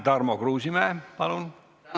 Tarmo Kruusimäe, palun!